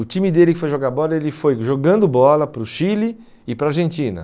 O time dele que foi jogar bola, ele foi jogando bola para o Chile e para a Argentina.